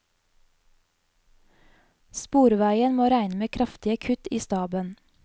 Sporveien må regne med kraftige kutt i staben.